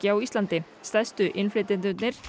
á Íslandi stærstu innflytjendurnir